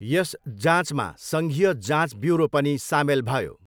यस जाँचमा सङ्घीय जाँच ब्युरो पनि सामेल भयो।